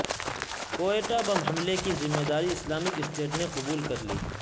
Quetta bomb حملے کی ذمہ داری اسلامک اسٹیٹ نے قبول کر لی